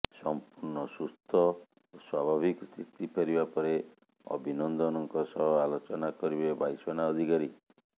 ସମ୍ପୂର୍ଣ୍ଣ ସୁସ୍ଥ ଓ ସ୍ୱାଭାବିକ ସ୍ଥିତି ଫେରିବା ପରେ ଅଭିନନ୍ଦନଙ୍କ ସହ ଆଲୋଚନା କରିବେ ବାୟୁସେନା ଅଧିକାରୀ